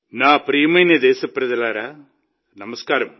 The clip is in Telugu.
నా ప్రియమైన దేశప్రజలారా నమస్కారం